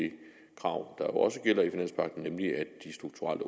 og at også gælder i finanspagten nemlig at de strukturelle